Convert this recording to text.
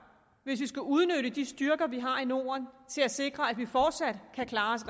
hvis vi skal udnytte de styrker vi har i norden til at sikre at vi fortsat kan klares